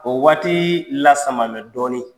O waati lasaman mɛ dɔɔnin.